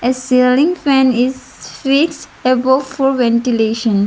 the ceiling fan is fix above for ventilation.